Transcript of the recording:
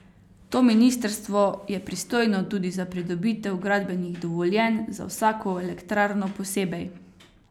To ministrstvo je pristojno tudi za pridobitev gradbenih dovoljenj za vsako elektrarno posebej.